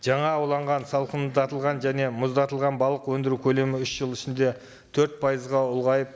жаңа ауланған салқындатылған және мұздатылған балық өндіру көлемі үш жыл ішінде төрт пайызға ұлғайып